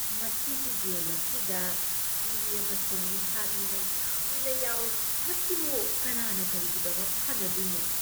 ꯃꯁꯤꯒꯤ ꯒꯦꯝ ꯑꯁꯤꯗ ꯏ ꯑꯃꯁꯨꯡ ꯃꯤꯍꯥꯠ ꯃꯤꯅꯩ ꯌꯥꯝꯅ ꯌꯥꯎꯏ꯫ ꯃꯁꯤꯕꯨ ꯀꯅꯥꯅ ꯀꯔꯤꯒꯤꯗꯃꯛ ꯁꯥꯟꯅꯗꯣꯏꯅꯣ?